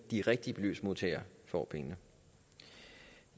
de rigtige beløbsmodtagere får pengene